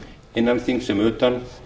innan þings sem utan